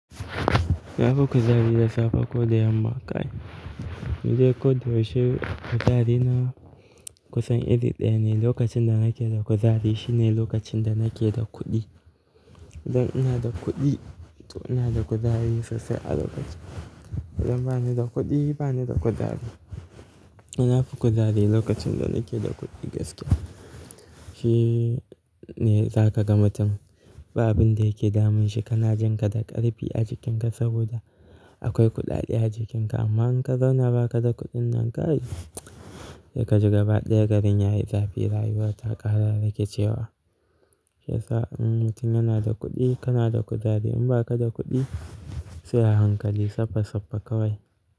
Nafi kuzari da safe ko da yamma kai? Ni dai koda yaushe kuzari na kusan iri ɗaya ne. Lokacin da nake da kuzari shine lokacin da nake da kuɗi. Idan ina da kuɗi to ina da kuzari sosai a lokacin. Idan ba ni da kuɗi ba ni da kuzari. Nafi kuzari lokacin da nake da kuɗi gaske. Shine zaka ga mutum ba abin da yake damun shi kana jin ka da ƙarfi a jikinka saboda akwai kuɗaɗe a jikinka. Amma in ka zauna ba ka da kuɗin nan kai, sai kaji gaba ɗaya garin yayi zafi rayuwa ta ƙara rikicewa. Sai sa'an mutum yana da kuɗi kana da kuzari in ba ka da kuɗi sai a hankali saffa saffa kawai.